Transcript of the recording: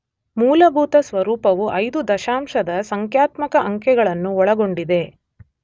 ಮೂಲಭೂತ ಸ್ವರೂಪವು ಐದು ದಶಮಾಂಶದ ಸಂಖ್ಯಾತ್ಮಕ ಅಂಕೆಗಳನ್ನು ಒಳಗೊಂಡಿದೆ.